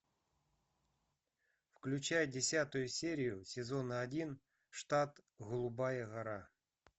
включай десятую серию сезона один штат голубая гора